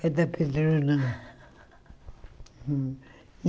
Cada pedrona.